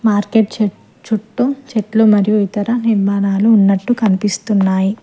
Market చు చుట్టూ చెట్లు మరియు ఇతర నిర్మాణాలు ఉన్నట్లు కనిపిస్తున్నాయి.